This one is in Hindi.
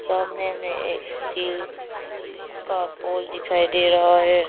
सामने में एक स्टील का पोल दिखाई दे रहा है।